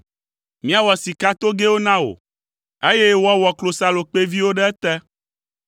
Míawɔ sikatogɛwo na wò, eye woawɔ klosalokpɛviwo ɖe ete.